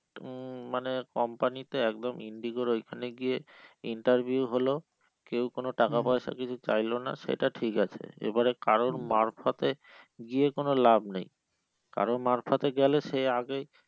মানে company তে একদম Indigo র ওইখানে গিয়ে interview হলো কেও কোনো টাকা পয়সা কিছু চাইলো না সেটা ঠিক আছে এবারে কারুর মারফতে গিয়ে কোনো লাভ নেই কারুর মারফতে গেলে সে আগেই